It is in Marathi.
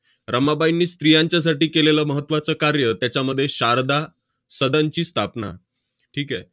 रमाबाईंनी स्त्रियांच्यासाठी केलेलं महत्त्वाचं कार्य, त्याच्यामध्ये शारदा सदनची स्थापना. ठीक आहे?